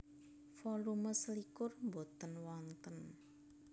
Volume selikur boten wonten